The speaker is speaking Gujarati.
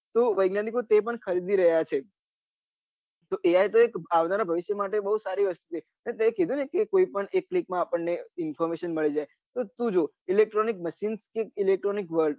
તો વિજ્ઞાનીકો તે પન ખરીદી રહ્યા છે AI તો એક આવનારા ભવિષ્ય માટે બહુ સારી વસ્તુ છે તે કીઘુ ને કોઈ પન એક minute માં આપણને information મળી જાય એ તું જો electronic machine કે electronic world